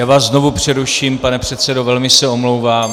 Já vás znovu přeruším, pane předsedo, velmi se omlouvám.